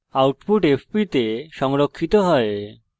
output fp the সংরক্ষিত হয়